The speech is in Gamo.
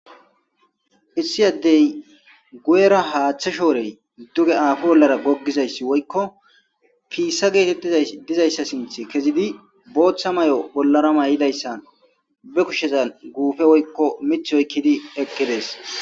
issi addey guyera haaththe shoorey duge aafi bollara goggizayssi woykko piissa geetettiza dizayssa sinth kezidi booththa may7o bollara may7idayssan be kushezan guufe woykko mith oykkidi eqidees